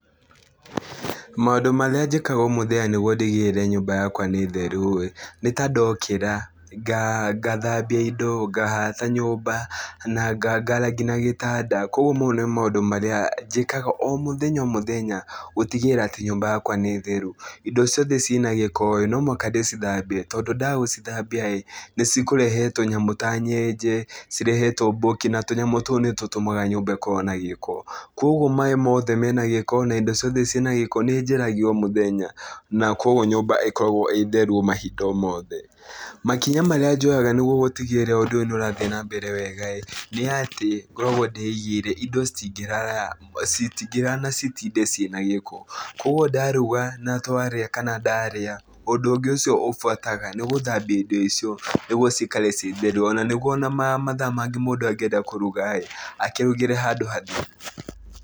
Maũndũ marĩa njĩkaga o mũthenya nĩguo ndigĩrĩre nyũmba yakwa nĩ theru-ĩ, nĩ ta ndokĩra ngathabia indo, ngahata nyũmba na ngaara kinya gĩtanda, kuoguo mau nĩ maũndũ marĩa njĩkaga o mũthenya o mũthenya gũtigĩrĩra atĩ nyũmba yakwa nĩ theru. Indo ciothe ciĩna gĩko-ĩ, no mũhaka ndĩcithambie, tondũ ndaga gũcithambia-ĩ, nĩcikũrehe tũnyamũ ta nyenje, cirehe tũmbũki na tũnyamũ tũu nĩtũtũmaga nyũmba ĩkorwo na gĩko, kuoguo maĩ mothe mena gĩko na indo ciothe ciĩna gĩko nĩnjeheragia o mũthenya, na kuoguo nyũmba ĩkoragwo ĩ theru o mahinda o mothe. Makinya marĩa njoyaga nĩguo gũtigĩrĩra ũndũ ũyũ nĩũrathiĩ na mbere wega-ĩ, nĩatĩ ngoragwo ndĩigĩire indo citingĩrara citingĩrara na citinde ciĩna gĩko. Kuoguo ndaruga na twarĩa kana ndarĩa ũndũ ũngĩ ũcio ũbuataga nĩ gũthambia indo icio nĩguo cikare ciĩ theru ona nĩguo ona mathaa mangĩ mũndũ angĩenda kũruga-ĩ, akĩrugĩre handũ hatheru.